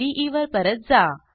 इदे वर परत जा